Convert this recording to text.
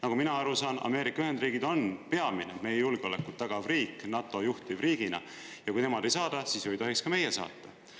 Nagu mina aru saan, Ameerika Ühendriigid on peamine meie julgeolekut tagav riik NATO juhtivriigina, ja kui nemad ei saada, siis ei tohiks ka meie saata.